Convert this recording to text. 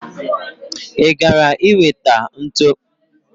I gara i weta ntu?